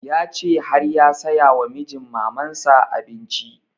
Ya ce har ya saya wa mijin maman sa abinci